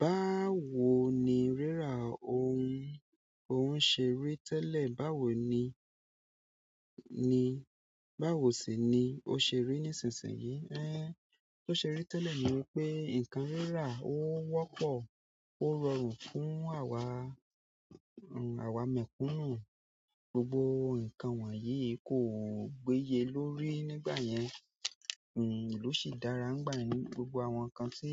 Báwo ni rírà, òhun ṣe rí tẹ́lẹ̀, báwo ni, ni, báwo sì ni ó ṣe rí nísinsìnyí? Tó ṣe rí tẹ́lẹ̀ ni wípé ǹkan rírà ó wọ́pọ̀, ó rọrùn fún àwa, àwa mẹ̀kúnnù. Gbogbo ǹkan wọ̀nyí kò gbéye lórí nígbà yẹn, ló sì dára nígbà yẹn. Gbogbo àwọn ǹkan tí,